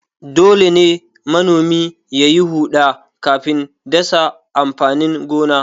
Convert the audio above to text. Dole ne manomi ya yi huɗa kafin dasa amfanin gona.